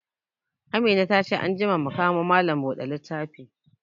Amina ta ce anjima mu kamo malam bude littafi